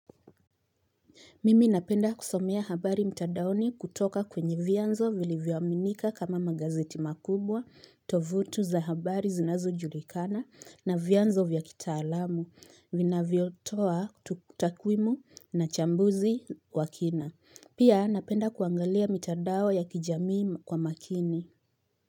Mimi napenda kusomea habari mtandaoni kutoka kwenye vyanzo vilivyominika kama magazeti makubwa, tovutu za habari zinazo julikana na vyanzo vyakitaalamu, vina vyotoa tutakwimu na chambuzi wakina. Pia napenda kuangalia mtandao ya kijamii kwa makini.